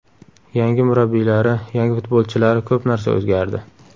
Yangi murabbiylari, yangi futbolchilari ko‘p narsa o‘zgardi.